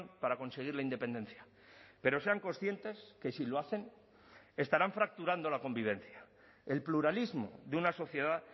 para conseguir la independencia pero sean conscientes que si lo hacen estarán fracturando la convivencia el pluralismo de una sociedad